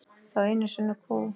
Þá einu sönnu kú.